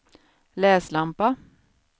läslampa